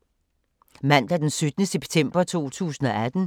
Mandag d. 17. september 2018